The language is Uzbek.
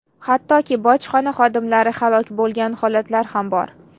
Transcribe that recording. Hattoki bojxona xodimlari haloq bo‘lgan holatlar ham bor.